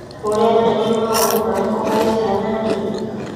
Rurenda nĩrũrĩ maũru marĩku harĩ ciana nini